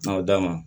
N'aw da ma